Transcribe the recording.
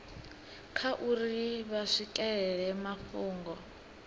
kha uri vha swikelela mafhungo